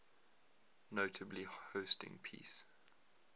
notably hosting peace